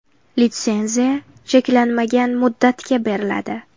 Litsenziya cheklanmagan muddatga beriladi.